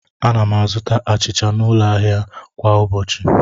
Ana m azụta achịcha n'ụlọ ahịa kwa ụbọchị.